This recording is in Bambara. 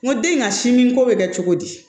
N ko den in ka si min ko bɛ kɛ cogo di